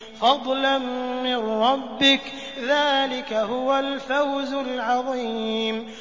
فَضْلًا مِّن رَّبِّكَ ۚ ذَٰلِكَ هُوَ الْفَوْزُ الْعَظِيمُ